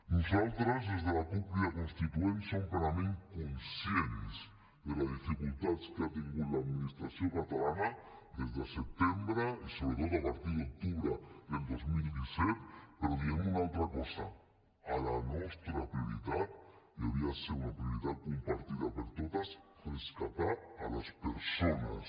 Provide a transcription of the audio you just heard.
nosaltres des de la cup crida constituent som plenament conscients de les dificultats que ha tingut l’administració catalana des de setembre i sobretot a partir d’octubre del dos mil disset però diem una altra cosa la nostra prioritat i hauria de ser una prioritat compartida per totes rescatar les persones